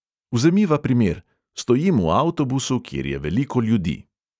Vzemiva primer: stojim v avtobusu, kjer je veliko ljudi.